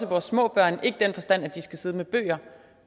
vores små børn ikke i den forstand at de skal sidde med bøger